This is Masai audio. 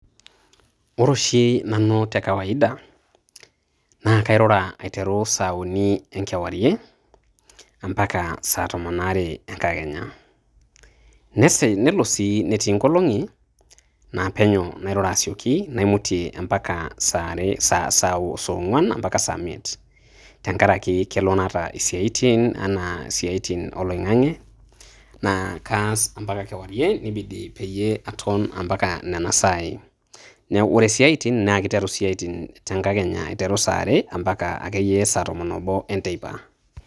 Ore oshi nanu te kawaida naa kairura aiteru saa uni e nkewarie ompaka saa tomon oare enkakenya. Nesi nelo sii netii nkolong`i naa, penyo nairura asioki naimutie ompaka saa are saa ong`uan mpaka saa miet. Tenkaraki kalo naata siaitin enaa siaitin o loing`ang`e naa kaas ompaka kewarie nibidi peyie aton ompaka nena saai. Ore siaitin naa kiteru te nkakenya aiteru saa are mpaka akeyie saa tomon oobo e nteipa.